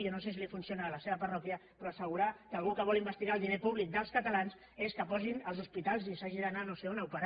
jo no sé si li funciona a la seva parròquia però assegurar que algú que vol investigar el diner públic dels catalans és que posin els hospitals i s’hagi d’anar no sé on a operar